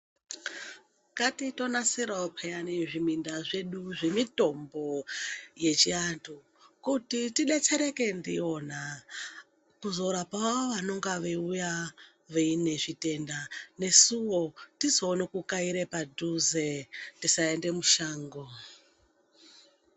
Ngatitonasirawo pheyani zviminda zvedu zvemitombo yechiantu, kuti tedetsereke ndiyona, kuzorapawo vanonga veiuya vaine zvitenda ,nesuwo tizoone kukaire padhuze ,tisaende mushango.